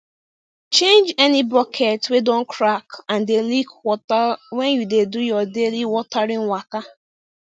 change any bucket wey don crack and dey leak water when you dey do your daily watering waka